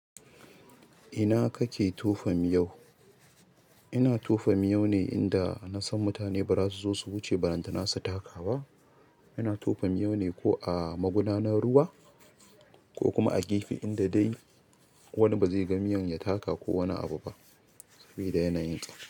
Ina kake tofa miyau? Ina tofa miyau ne inda na san mutane ba za su zo su wuce balantana su taka ba. Ina tofa miyau ne ko a magudanan ruwa ko kuma a gefe inda dai wani bazai ga miyon ya taka ko wani abu ba sabida yana yin ta.